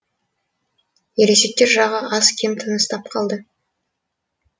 ересектер жағы аз кем тыныстап қалды